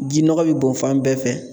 Ji nɔgɔ bɛ bɔn fan bɛɛ fɛ